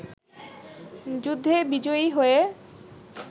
যুদ্ধে বিজয়ী হয়ে